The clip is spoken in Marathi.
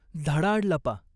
झाडाआड लपा.